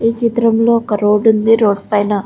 ఈ చిత్రం లో ఒక రోడ్డు ఉంది ఆ రోడ్డు పైన --